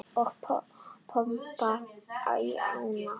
Og pompa í ána?